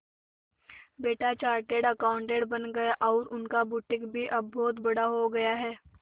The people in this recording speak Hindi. बेटा चार्टेड अकाउंटेंट बन गया और उनका बुटीक भी अब बहुत बड़ा हो गया है